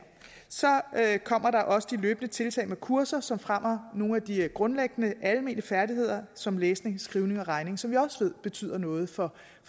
kommer der også de løbende tiltag med kurser som fremmer nogle af de grundlæggende almene færdigheder som læsning skrivning og regning som vi også ved betyder noget for